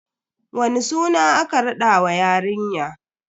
Wani suna aka raɗa wa yarinya?